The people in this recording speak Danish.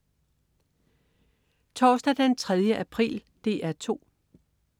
Torsdag den 3. april - DR 2: